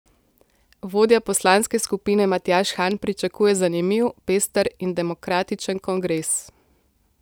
Vodja poslanske skupine Matjaž Han pričakuje zanimiv, pester in demokratičen kongres.